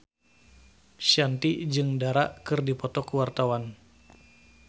Shanti jeung Dara keur dipoto ku wartawan